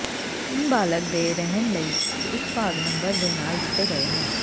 ਤਿੰਨ ਬਾਲਗ ਦੇ ਰਹਿਣ ਲਈ ਇੱਕ ਭਾਗ ਨੰਬਰ ਦੇ ਨਾਲ ਦਿੱਤੇ ਗਏ ਹਨ